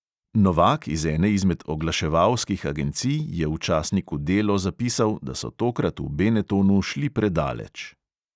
Novak iz ene izmed oglaševalskih agencij je v časniku delo zapisal, da so tokrat v benetonu šli predaleč.